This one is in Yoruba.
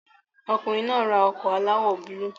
Ọkùnrin náà ra ọkọ̀ aláwọ̀ búlúù